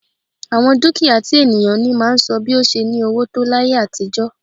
Àwọn dúkìá tí ènìyàn ní máa ń sọ bi ó ṣe ní owó tó láyé àtijọ́